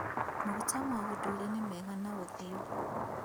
Maguta ma ũndũire nĩ mega na ũthiũ